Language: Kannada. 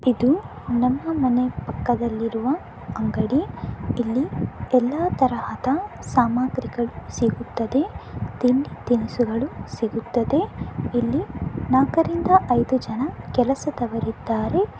ಇದು ನಮ್ಮ ಮನೆ ಪಕ್ಕದಲ್ಲಿರುವ ಅಂಗಡಿ. ಇಲ್ಲಿ ಎಲ್ಲ ತರಹದ ಸಾಮಗ್ರಿಗಳು ಸಿಗುತ್ತದೆ. ತಿಂಡಿ ತಿನುಸುಗಳು ಸಿಗುತ್ತದೆ. ಇಲ್ಲಿ ನಾಕರಿಂದ ಐದು ಜನ ಕೆಲಸದವರಿದ್ದಾರೆ.